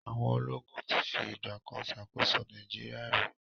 Àwọn ológun ti fi ìgbà kan ṣàkóso Nigeria rí.